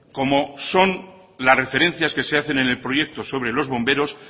como son las referencias que se hacen en el proyecto sobre los bomberos